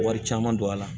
Wari caman don a la